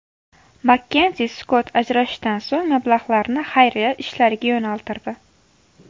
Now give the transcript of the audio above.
Makkenzi Skott ajrashishdan so‘ng mablag‘larni xayriya ishlariga yo‘naltirdi .